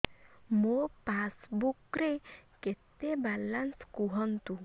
ମୋ ପାସବୁକ୍ ରେ କେତେ ବାଲାନ୍ସ କୁହନ୍ତୁ